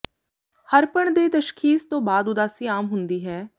ਹਰਪਣ ਦੇ ਤਸ਼ਖੀਸ ਤੋਂ ਬਾਅਦ ਉਦਾਸੀ ਆਮ ਹੁੰਦੀ ਹੈ